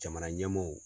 Jamana ɲɛmaaw